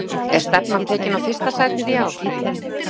Er stefnan tekin á fyrsta sætið í ár?